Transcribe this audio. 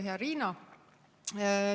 Hea Riina!